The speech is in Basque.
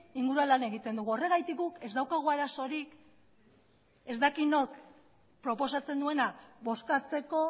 inguruan lan egiten dugu horregatik guk ez daukagu arazorik ez dakit nork proposatzen duena bozkatzeko